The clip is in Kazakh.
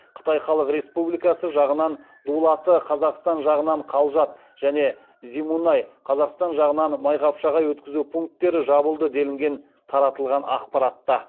қытай халық республикасы жағынан дулаты және зимунай өткізу пункттері жабылды делінген таратылған ақпаратта